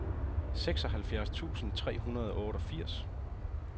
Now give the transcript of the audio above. seksoghalvfjerds tusind tre hundrede og otteogfirs